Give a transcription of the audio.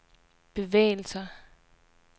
bevægelser